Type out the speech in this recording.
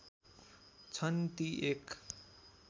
छन् ती एक